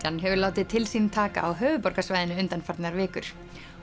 hefur látið til sín taka á höfuðborgarsvæðinu undanfarnar vikur